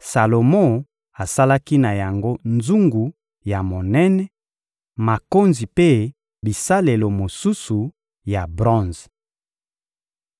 Salomo asalaki na yango nzungu ya monene, makonzi mpe bisalelo mosusu ya bronze.